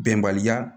Bɛnbaliya